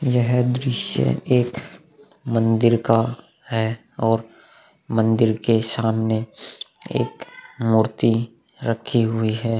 यह दृश्य एक मंदिर का है और मंदिर के सामने एक मूर्ति रखी हुई है।